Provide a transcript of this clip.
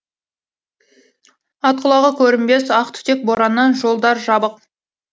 ат құлағы көрінбес ақ түтек бораннан жолдар жабық